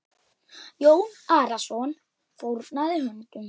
Jón Arason fórnaði höndum.